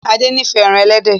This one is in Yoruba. Ade n'ifẹ èràn elédè.